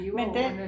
Men den